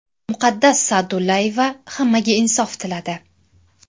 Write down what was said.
Muqaddas Sa’dullayeva hammaga insof tiladi.